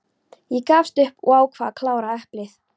Ég gafst upp og ákvað að klára eplið.